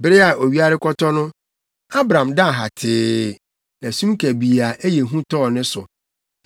Bere a owia rekɔtɔ no, Abram daa hatee, na sum kabii a ɛyɛ hu tɔɔ ne so.